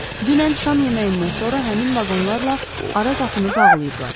Dünən şam yeməyindən sonra həmin vaqonlarla ara qapını bağlayıblar.